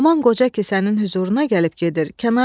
Haman qoca gecə-gündüz sənin hüzuruna gəlib gedir.